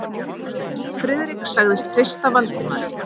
Friðrik sagðist treysta Valdimari.